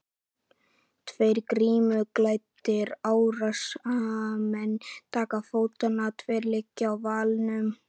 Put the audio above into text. Tveir grímuklæddir árásarmenn taka til fótanna, tveir liggja í valnum.